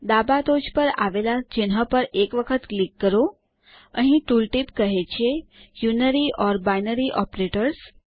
ડાબા ટોચે આવેલા ચિહ્ન પર એક વખત ક્લિક કરો અહીં ટુલ ટીપ કહે છે યુનરી ઓર બાયનરી ઓપરેટર્સ